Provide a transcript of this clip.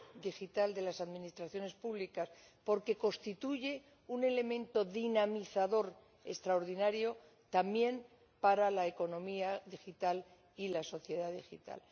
digital de las administraciones públicas, porque constituye un elemento dinamizador extraordinario también para la economía digital y la sociedad digital.